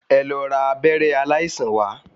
Ẹ lọ ra abẹ́rẹ́ aláìsàn wá.